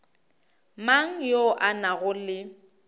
mang yo a nago le